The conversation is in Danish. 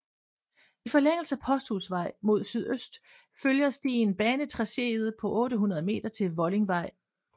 I forlængelse af Posthusvej mod sydøst følger stien banetracéet på 800 meter til Vollingvej